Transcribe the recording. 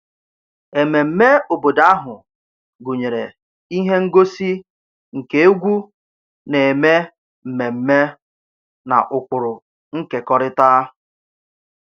Ememme obodo ahụ gụnyere ihe ngosi nke egwu na-eme mmemme na ụkpụrụ nkekọrịta